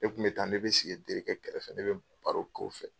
Ne kun bɛ taa ne bɛ sigi n terikɛ kɛrɛfɛ ne bɛ baro ko fɛ.